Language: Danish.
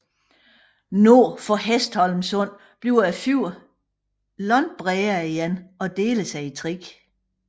Nord for Hestholmsundet bliver fjorden langt bredere igen og deler sig i tre